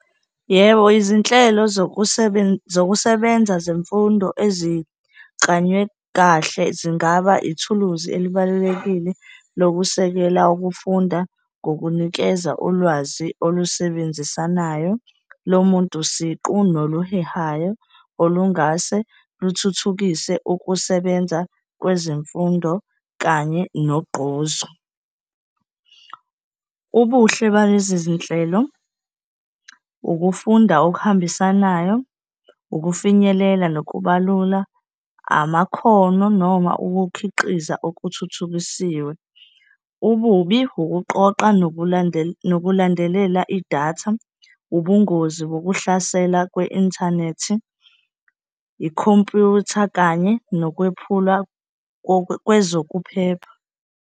Yebo, izinhlelo zokusebenza zemfundo eziklanywe kahle zingaba ithuluzi elibalulekile lokusekela ukufunda, ngokunikeza ulwazi olusebenzisanayo lomuntu siqu noluhehayo olungase luthuthukise ukusebenza kwezemfundo kanye nogqozi. Ubuhle balezi zinhlelo, ukufunda okuhambisanayo, ukufinyelela nokubalula amakhono noma ukukhiqiza okuthuthukisiwe. Ububi, ukuqoqa nokulandelela idatha, ubungozi bokuhlasela kwe-inthanethi, ikhompyutha kanye nokwephula kwezokuphepha.